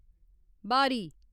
बा'री